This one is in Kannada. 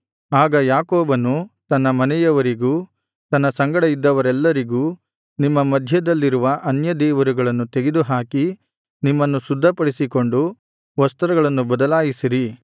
ಆಗ ಯಾಕೋಬನು ತನ್ನ ಮನೆಯವರಿಗೂ ತನ್ನ ಸಂಗಡ ಇದ್ದವರೆಲ್ಲರಿಗೂ ನಿಮ್ಮ ಮಧ್ಯಲ್ಲಿರುವ ಅನ್ಯ ದೇವರುಗಳನ್ನು ತೆಗೆದುಹಾಕಿ ನಿಮ್ಮನ್ನು ಶುದ್ಧಪಡಿಸಿಕೊಂಡು ವಸ್ತ್ರಗಳನ್ನು ಬದಲಾಯಿಸಿರಿ